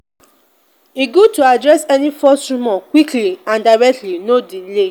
e good to address any false rumor quickly and directly; no delay.